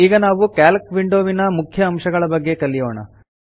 ಈಗ ನಾವು ಕ್ಯಾಲ್ಕ್ ವಿಂಡೋವಿನ ಮುಖ್ಯ ಅಂಶಗಳ ಬಗ್ಗೆ ಕಲಿಯೋಣ